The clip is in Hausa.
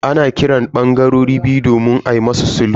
An kira bangarorin biyu domin musu sulhu.